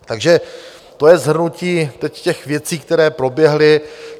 Takže to je shrnutí teď těch věcí, které proběhly.